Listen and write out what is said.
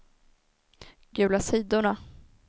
gula sidorna